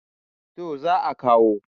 to za a kawo